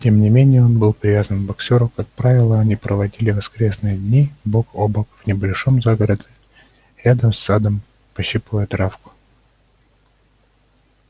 тем не менее он был привязан к боксёру как правило они проводили воскресные дни бок о бок в небольшом загороде рядом с садом пощипывая травку